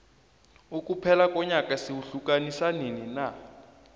ukuphela konyaka sikuhiukanisa nini na